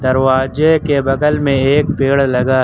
दरवाजे के बगल में एक पेड़ लगा--